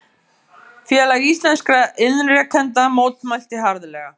Félag íslenskra iðnrekenda mótmælti harðlega